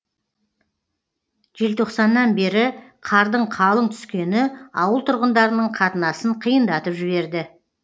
желтоқсаннан бері қардың қалың түскені ауыл тұрғындарының қатынасын қиындатып жіберді